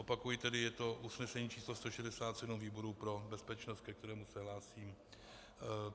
Opakuji tedy, je to usnesení číslo 167 výboru pro bezpečnost, ke kterému se hlásím.